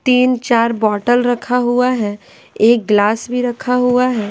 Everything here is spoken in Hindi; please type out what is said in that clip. तीन चार बोतल रखा हुआ है एक गिलास भी रखा हुआ है ।